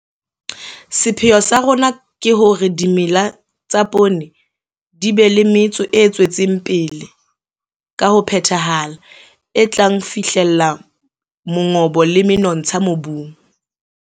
Sepheo sa rona ke hore dimela tsa poone di be le metso e tswetseng pele ka ho phethahala, e tla fihlella mongobo le menontsha mobung.